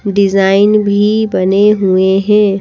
Design भी बने हुए हैं।